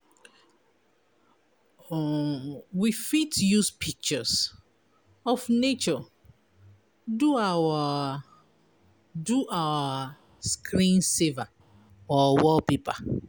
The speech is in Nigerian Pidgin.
um We fit use pictures of nature do our do our screen saver or wallpaper